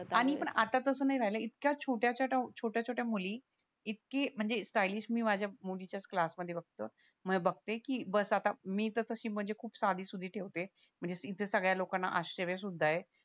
आणि पण आत्ता तसं नाही राहिलंय इतक्या छोट्या छोट्या मुली इतकी स्ट्यालीस मी माझ्या मुलीच्या च क्लास यामध्ये बघत बघते की बस आता मीच अशी म्हणजे खूप साधी सुधी ठेवते म्हणजे इथे सगळ्या लोकांना आश्चर्य सुद्धा ये